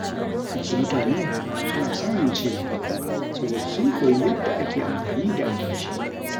Wasu mutane suna samun ci gaba saboda sun koyi yadda ake amfani da albashi.